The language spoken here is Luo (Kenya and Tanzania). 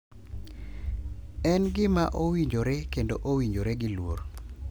En gima owinjore kendo owinjore gi luor.